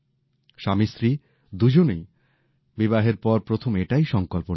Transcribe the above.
স্বামীস্ত্রী দুজনই বিবাহের পর প্রথম এটাই সংকল্প নিলেন